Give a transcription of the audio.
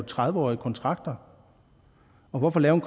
tredive årige kontrakter hvorfor lave